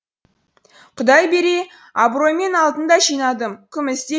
құдай бере абыроймен алтын да жинадым күміс те